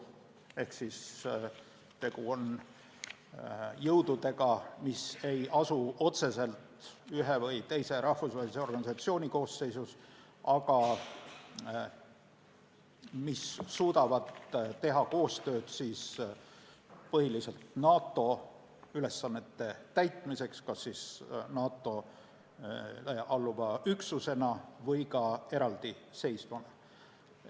Ehk tegu on jõududega, mis ei asu otseselt ühe või teise rahvusvahelise organisatsiooni koosseisus, aga suudavad teha koostööd põhiliselt NATO ülesannete täitmiseks, kas NATO-le alluva üksusena või ka eraldiseisvana.